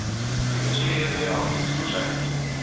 Pri večerji je dejal: "Poslušaj!